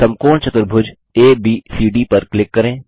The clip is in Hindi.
समकोण चतुर्भुज एबीसीडी पर क्लिक करें